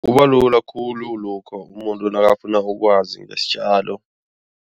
Kubalula khulu lokha umuntu nakafuna ukwazi ngesitjalo.